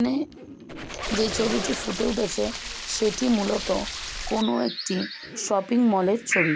এখানে যে ছবিটি ফুটে উঠেছে সেটি মূলত কোনো একটি শপিং মল এর ছবি।